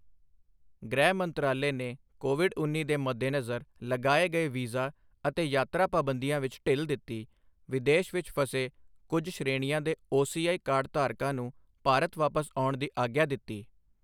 ਗ੍ਰਹਿ ਮੰਤਰਾਲੇ ਨੇ ਕੋਵਿਡ ਉੱਨੀ ਦੇ ਮੱਦੇਨਜ਼ਰ ਲਗਾਏ ਗਏ ਵੀਜ਼ਾ ਅਤੇ ਯਾਤਰਾ ਪਾਬੰਦੀਆਂ ਵਿੱਚ ਢਿੱਲ ਦਿੱਤੀ, ਵਿਦੇਸ਼ ਵਿੱਚ ਫਸੇ ਕੁਝ ਸ਼੍ਰੇਣੀਆਂ ਦੇ ਓਸੀਆਈ ਕਾਰਡਧਾਰਕਾਂ ਨੂੰ ਭਾਰਤ ਵਾਪਸ ਆਉਣ ਦੀ ਆਗਿਆ ਦਿੱਤੀ